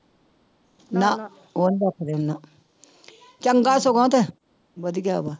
ਨਾ ਉਹ ਨੀ ਰੱਖਦੇ ਨਾ ਚੰਗਾ ਸਗੋਂ ਤੇ ਵਧੀਆ ਵਾ।